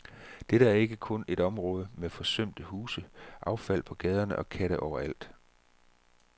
Dette er ikke kun et område med forsømte huse, affald på gaderne og katte overalt.